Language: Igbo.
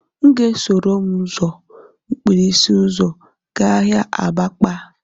M ga-esoro m ụzọ mkpirisi ụzọ gaa ahịa abakpa